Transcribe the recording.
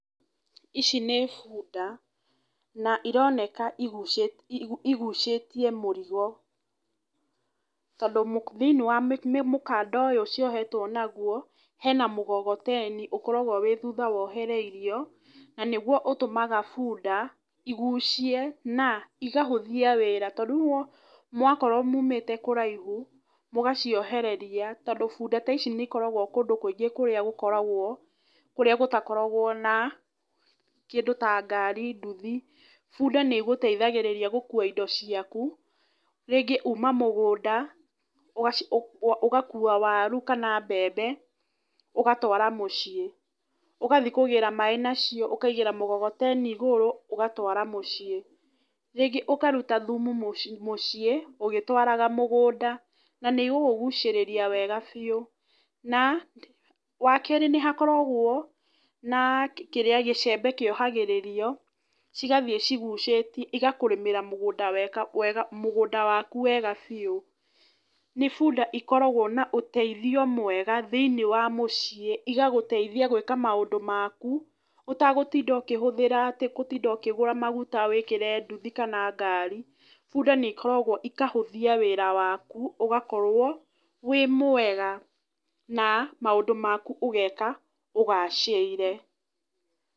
Ici nĩ bunda. Na ironeka igucĩtie mũrigo. Tondũ thĩinĩ wa mũkanda ũyũ ciohetwo naguo, hena mũgogoteni ũkoragwo wĩ thutha wohereirio, na nĩguo ũtũmaga bunda, igucie na, igahũthia wĩra. To rĩu mwakorwo mumĩte kũraihu, mũgaciohereria, tondũ bunda ta ici nĩ ikoragwo kũndũ kũingĩ kũrĩa gũkoragwo kũrĩa gũtakoragwo na kĩndũ ta ngari, nduthi. Bunda nĩ ĩgũteithagĩrĩria gũkuua indo ciaku, rĩngĩ uuma mũgũnda, ũgakuua waru kana mbembe, ũgatwara mũciĩ. Ũgathi kũgĩra maaĩ nacio ũkaigĩra mũgogoteni igũrũ, ũgatwara mũciĩ. Rĩngĩ ũkaruta thumu mũci mũciĩ, ũgĩtwaraga mũgũnda. Na nĩ igũgũcĩrĩria wega biũ. Na, wa keerĩ nĩ hakoragwo na kĩrĩa gĩcembe kĩohagĩrĩrio, cigathiĩ cigucĩti, igakũrĩmĩra mũgũnda weka wega mũgũnda waku wega biũ. Nĩ bunda ikoragwo na ũteithio mwega thĩiniĩ wa mũciĩ, igagũteithia gwĩka maũndũ maku, ũtagũtinda ũkĩhũthĩra atĩ gũtinda ũkĩgũra maguta wĩkĩre nduthi kana ngari, bunda nĩ ikoragwo ikahũthia wĩra waku, ũgakorwo wĩ mwega. Na maũndũ maku ũgeka ũgacĩire.